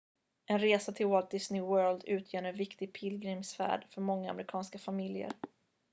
en resa till walt disney world utgör en viktig pilgrimsfärd för många amerikanska familjer